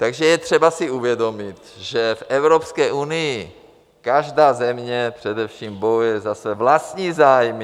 Takže je třeba si uvědomit, že v Evropské unii každá země především bojuje za své vlastní zájmy.